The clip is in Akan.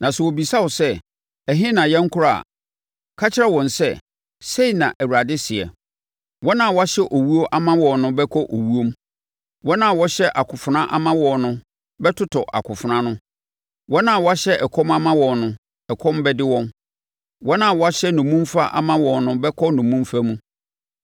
Na sɛ wɔbisa wo sɛ, ‘Ɛhe na yɛnkorɔ’ a, ka kyerɛ wɔn sɛ, ‘Sei na Awurade seɛ: “ ‘Wɔn a wɔahyɛ owuo ama wɔn no bɛkɔ owuom; wɔn a wɔahyɛ akofena ama wɔn no bɛtotɔ akofena ano; wɔn a wɔahyɛ ɛkɔm ama wɔn no, ɛkɔm bɛde wɔn; wɔn a wɔahyɛ nnommumfa ama wɔn no bɛkɔ nnommumfa mu.’